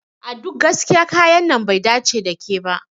A duk gaskiya kayan nan bai dace da ke ba.